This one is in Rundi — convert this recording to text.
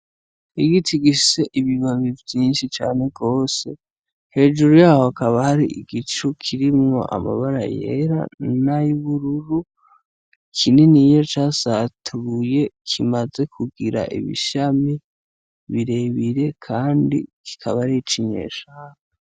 Igiti gifise ibibabi vyinshi cane gose, hejuru yaho hakaba hari igicu kirimwo amabara yera nay'ubururu, kininiya casatuye, kimaze kugira ibishami birebire kandi kikaba harico inyeshamba.